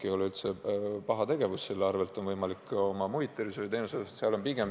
See ei ole üldse paha tegevus, selle toel on võimalik muid tervishoiuteenuseid arendada.